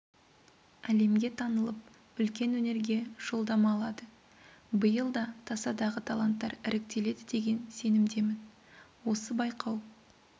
әлемге танылып үлкен өнерге жолдама алады биыл да тасадағы таланттар іріктеледі деген сенімдемін осы байқау